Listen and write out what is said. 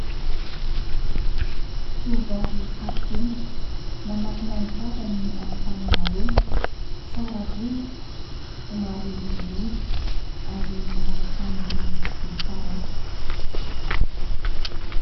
Tovovavy saro-kenatra manakona ny tavany amin'ny tanana roa. Tsara volo, somary olioly ary manao akanjo miloko volomparasy.